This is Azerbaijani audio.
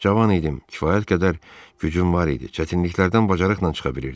Cavan idim, kifayət qədər gücüm var idi, çətinliklərdən bacarıqla çıxa bilirdim.